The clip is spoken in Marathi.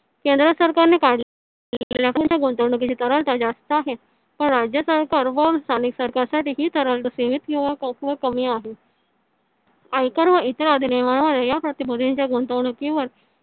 केंद्र सरकारने काढलेल्या गुंतवणुकीत जास्त आहे. राज्य सरकार व स्थानिक सरकारसाठी हि कमी आहे आयकर व इतर या प्रतिभूतींच्या गुणतंवणूकीवर